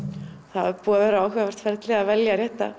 það er búið að vera áhugavert ferli að velja rétta